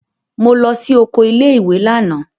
Mo lọ sí oko ilé-ìwé lánàá.